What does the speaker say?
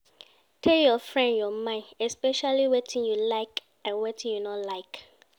Tell your friend your mind especially wetin you like and wetin you no like